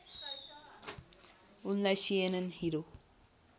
उनलाई CNN hero